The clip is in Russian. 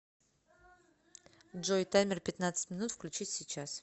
джой таймер пятнадцать минут включить сейчас